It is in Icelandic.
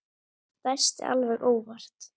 Ég dæsti alveg óvart.